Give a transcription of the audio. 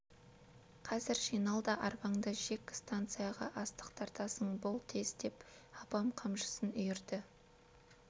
қазір жинал да арбаңды жек станцияға астық тартасың бол тез деп апам қамшысын үйірді